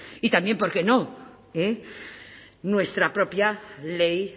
y también por qué no nuestra propia ley